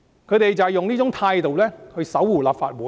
他們就是以這種態度守護立法會。